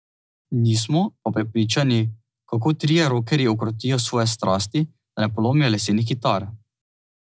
Nismo pa prepričani, kako trije rokerji ukrotijo svoje strasti, da ne polomijo lesenih kitar.